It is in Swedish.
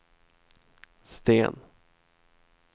Sten